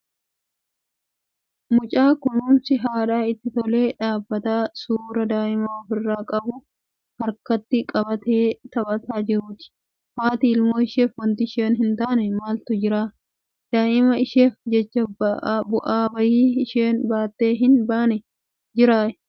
Mucaa kunuunsi haadhaa itti tolee, dibata suuraa daa'imaa ofirraa qabu harkatti qabatee taphataa jiruuti. Haati ilmoo isheef wanti isheen hin taane maaltu jira? Daa'ima isheef jecha bu'aa bahii isheen buutee hin baane jiraa?